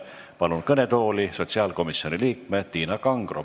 Palun kõnetooli sotsiaalkomisjoni liikme Tiina Kangro.